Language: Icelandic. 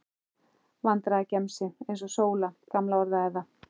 Vandræðagemsi, eins og Sóla gamla orðaði það.